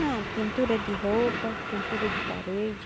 Não, pintura de roupa, pintura de parede.